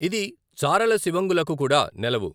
ఇది చారల సివంగులకు కూడా నెలవు.